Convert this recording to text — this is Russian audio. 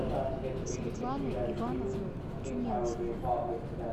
светлану ивановну тюменцеву